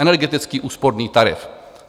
Energetický úsporný tarif.